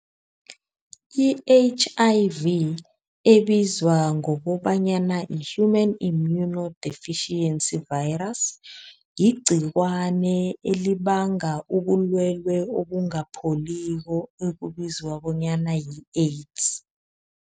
I-H_I_V, ebizwa ngokobanyana yi-human immunodeficiency virus, yigciwane elibanga ubulwele obungapholiko ebubizwa bonyana yi-AIDS.